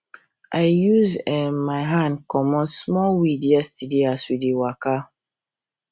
i use my hand um comot small weed yesterday as we dey waka